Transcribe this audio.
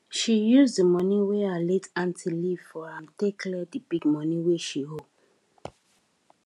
she use the money wey her late aunty leave for am take clear the big money wey she owe